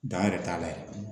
Dan yɛrɛ t'a la ye